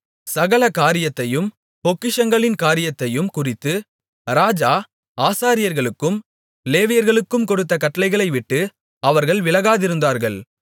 சகல காரியத்தையும் பொக்கிஷங்களின் காரியத்தையும் குறித்து ராஜா ஆசாரியர்களுக்கும் லேவியர்களுக்கும் கொடுத்த கட்டளைகளைவிட்டு அவர்கள் விலகாதிருந்தார்கள்